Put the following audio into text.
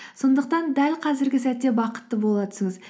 сондықтан дәл қазіргі сәтте бақытты бола түсіңіз